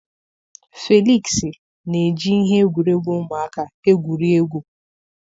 Felịksị na-eji ihe egwuregwu ụmụaka egwuri egwu.